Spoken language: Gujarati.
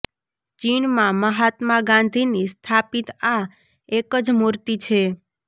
ચીનમાં મહાત્મા ગાંધીની સ્થાપિત આ એક જ મૂર્તિ છે